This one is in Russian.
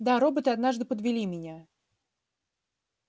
да роботы однажды подвели меня